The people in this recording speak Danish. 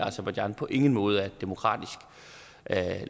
aserbajdsjan på ingen måde er et demokratisk